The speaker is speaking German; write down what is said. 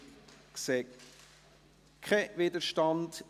Ich sehe keinen Widerstand.